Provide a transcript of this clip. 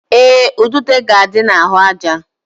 Ee, udude ga-adị n'ahụaja